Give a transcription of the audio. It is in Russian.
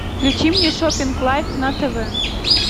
включи мне шопинг лайф на тв